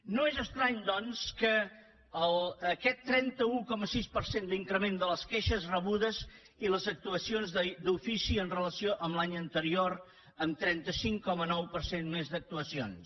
no és estrany doncs aquest trenta un coma sis per cent d’increment de les queixes rebudes i les actuacions d’ofici amb relació a l’any anterior amb trenta cinc coma nou per cent més d’actuacions